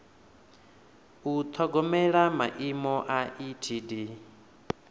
u ṱhogomela maimo a etd